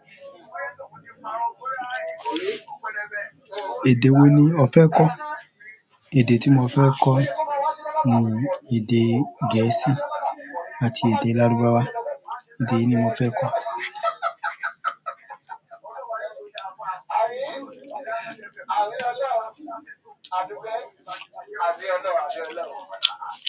Èdè wo ni ò fẹ́ kọ́? Èdè tí mo fẹ́ kọ́ ni èdè gẹ̀ẹ́sì àti èdè lárúbáwá. Èdè yìí ni mo fẹ́ kọ́.